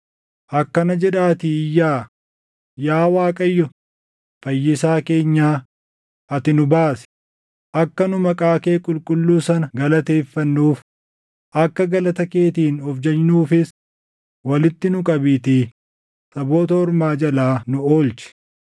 Akkana jedhaatii iyyaa; “Yaa Waaqayyo, Fayyisaa keenya, ati nu baasi; akka nu maqaa kee qulqulluu sana galateeffannuuf, akka galata keetiin of jajnuufis, walitti nu qabiitii saboota ormaa jalaa nu oolchi.”